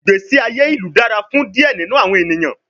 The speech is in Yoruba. Igbesi aye ilu dara fun diẹ ninu awọn eniyan